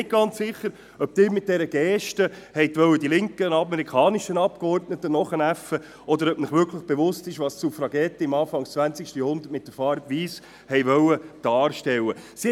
Ich bin mir nicht ganz sicher, ob Sie mit dieser Geste die linken amerikanischen Abgeordneten nachäffen wollten, oder ob Ihnen wirklich bewusst ist, was die Suffragetten zu Beginn des 20. Jahrhunderts mit der weissen Farbe darstellen wollten.